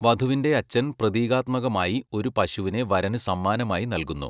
വധുവിന്റെ അച്ഛൻ പ്രതീകാത്മകമായി ഒരു പശുവിനെ വരന് സമ്മാനമായി നൽകുന്നു.